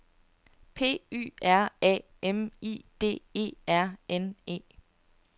P Y R A M I D E R N E